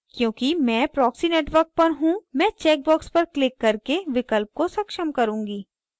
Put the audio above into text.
क्योंकि मैं proxy network पर हूँ मैं चेक बॉक्स पर क्लिक करके विकल्प को सक्षम करुँगी